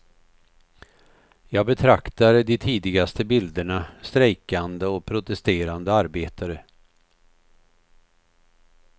Jag betraktar de tidigaste bilderna, strejkande och protesterande arbetare.